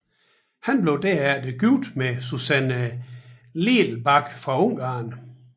Han blev derefter gift med Susanne Lelbach fra Ungarn